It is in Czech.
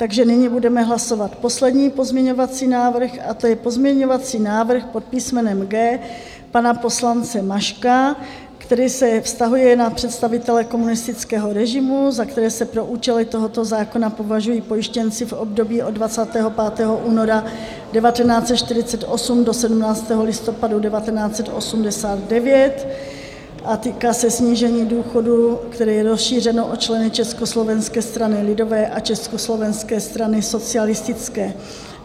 Takže nyní budeme hlasovat poslední pozměňovací návrh, a to je pozměňovací návrh pod písmenem G pana poslance Maška, který se vztahuje na představitele komunistického režimu, za které se pro účely tohoto zákona považují pojištěnci v období od 25. února 1948 do 17. listopadu 1989, a týká se snížení důchodů, které je rozšířeno o členy Československé strany lidové a Československé strany socialistické.